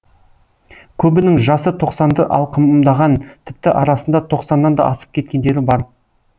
көбінің жасы тоқсанды алқымдаған тіпті арасында тоқсаннан да асып кеткендері бар